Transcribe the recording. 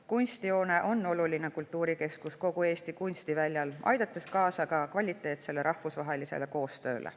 Kunstihoone on oluline kultuurikeskus kogu Eesti kunstiväljal, kus aidatakse kaasa kvaliteetsele rahvusvahelisele koostööle.